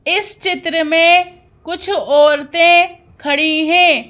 इस चित्र में कुछ औरतें खड़ी हैं।